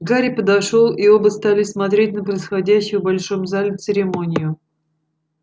гарри подошёл и оба стали смотреть на происходящую в большом зале церемонию